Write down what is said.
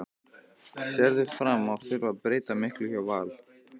Sérðu fram á að þurfa að breyta miklu hjá Val?